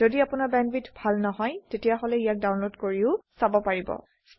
যদি আপোনাৰ বেণ্ডৱিডথ ভাল নহয় তেতিয়াহলে ইয়াক ডাউনলোড কৰিও চাব পাৰে